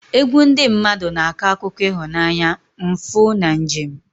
Egwu ndị mmadụ na-akọ akụkọ ịhụnanya, mfu, na njem.